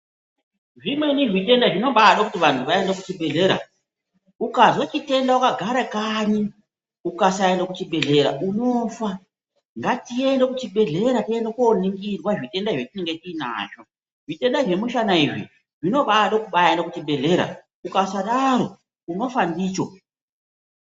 Zvimweni zvitenda zvinobado kuti vantu vaende kuchibhedhlera. Ukazwe chitenda ukagare kanyi ukasaende kuchibhedhlera unofa. Ngatiende kuzvibhedhlera tiende koningirwa zvitenda zvetinenge tiinazvo. Zvitenda zvemushana izvi zvinobade kuenda kuchibhedhlera. Ukasadaro unofa ndicho.